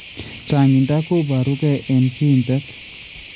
Changinta kobaaru ke eng kiiintet